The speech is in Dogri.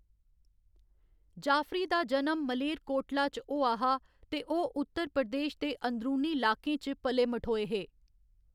जाफरी दा जनम मालेरकोटला च होआ हा ते ओह्‌‌ उत्तर प्रदेश दे अंदरूनी लाकें च पले मठोए हे।